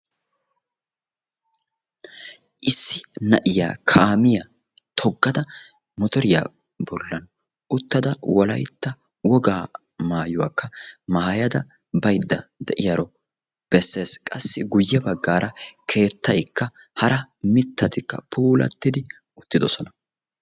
Issi na'iya kaamiya toggada motoriya bollan uttada wolayitta wogaa mayuwakka mayada bayidda de'iyaro besses. Qassi guyye baggaara keettaykka hara mittatikka puulattidi uttidosona.